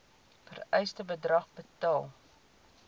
vereiste bedrag betaal